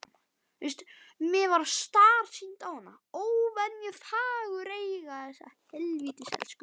Mér varð starsýnt á hana, óvenju fagureyga.